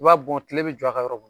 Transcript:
I b'a bɔn tile bɛ jɔ a kan yɔrɔ